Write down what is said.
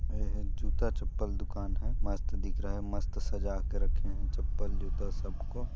एहे जूता चप्पल दुकान हैं मस्त दिख रहा हैं मस्त सजा के रखे हैं चप्पल जूता सबको।